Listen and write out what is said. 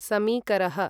समीकरः